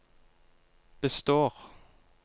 består